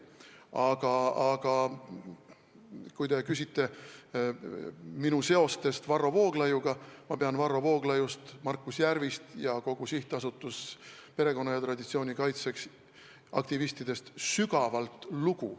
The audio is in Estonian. Aga kui te küsite minu seoste kohta Varro Vooglaiuga, siis ma vastan, et ma pean Varro Vooglaiust, Markus Järvist ja kõigist SA Perekonna ja Traditsiooni Kaitseks aktivistidest sügavalt lugu.